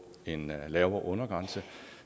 en lavere undergrænse